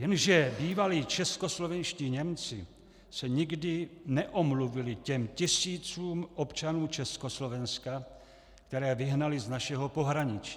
Jenže bývalí českoslovenští Němci se nikdy neomluvili těm tisícům občanů Československa, které vyhnali z našeho pohraničí.